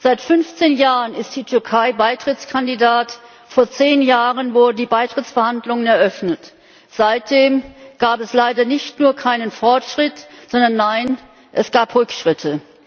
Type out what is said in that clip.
Seit 15 Jahren ist die Türkei Beitrittskandidat, vor zehn Jahren wurden die Beitrittsverhandlungen eröffnet. Seitdem gab es leider nicht nur keinen Fortschritt, sondern nein es gab Rückschritte.